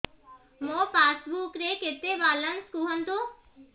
ମୋ ପାସବୁକ୍ ରେ କେତେ ବାଲାନ୍ସ କୁହନ୍ତୁ